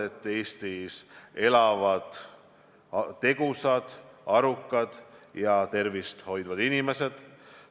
Esiteks, Eestis elavad tegusad, arukad ja tervist hoidvad inimesed.